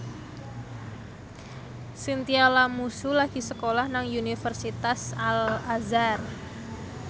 Chintya Lamusu lagi sekolah nang Universitas Al Azhar